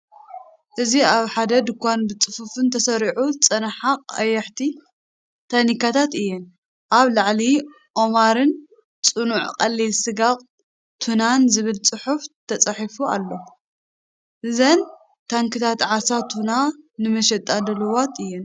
እዚ ኣብ ሓደ ድኳን ብጽፉፍ ተሰሪዐን ዝጸንሓ ቀያሕቲ ታኒካታት እየን። ኣብ ላዕሊ ‘ኦማር’ን ‘ጽኑዕ ቀሊል ስጋ ቱና’ን ዝብል ጽሑፍ ተጻሒፉ ኣሎ። እዘን ታንክታት ዓሳ ቱና ንመሸጣ ድሉዋት እየን።